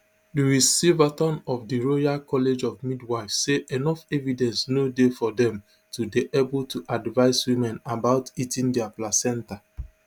louise silverton of di royal college of midwives say enough evidence no dey for dem to dey able to advise women about eating dia placenta